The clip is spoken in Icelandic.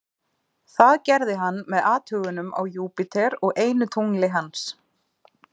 það gerði hann með athugunum á júpíter og einu tungli hans